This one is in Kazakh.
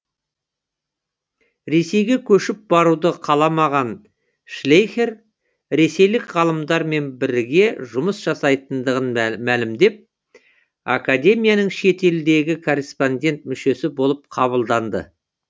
ресейге көшіп баруды қаламаған шлейхер ресейлік ғалымдармен біріге жұмыс жасайтындығын мәлімдеп академияның шетелдегі корреспондент мүшесі болып қабылданды